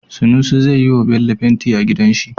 Sunusi zai yiwa Bello fenti a gidan shi